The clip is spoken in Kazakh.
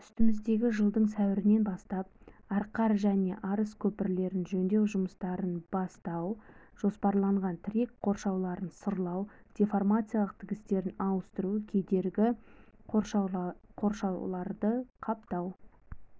үстіміздегі жылдың сәуірінен бастап арқар және арыс көпірлерін жөндеу жұмыстарын бастау жоспарланған тірек қоршауларын сырлау деформациялық тігістерін ауыстыру кедергі қоршауларды қаптау